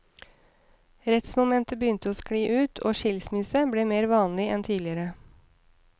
Rettsmomentet begynte å skli ut, og skilsmisse ble mer vanlig enn tidligere.